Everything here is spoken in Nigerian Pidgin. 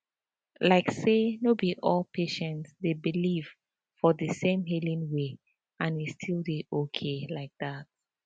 like say no be all patients dey believe for the same healing way and e still dey okay like that